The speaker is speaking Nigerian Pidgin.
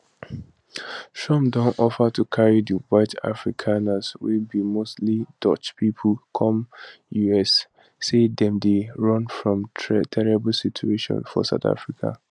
trump don offer to carry di white afrikaners wey be mostly dutch pipo come us say dem dey run from terrible situation for south africa